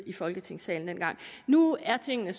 i folketingssalen nu er tingene